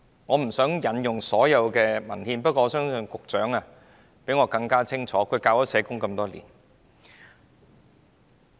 我不想引用所有文獻，不過我相信局長較我更清楚，他已教授社會學多年。